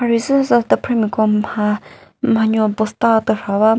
marhe züsa tüpremiko mha mhanyo bosta türha ba mo--